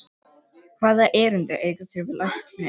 Hvaða erindi eigið þér við lækninn?